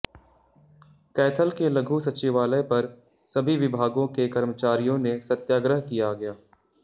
कैथल के लघु सचिवालय पर सभी विभागों के कर्मचारियों ने सत्याग्रह किया गया